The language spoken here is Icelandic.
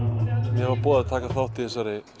var boðið að taka þátt í þessari